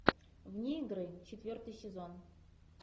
вне игры четвертый сезон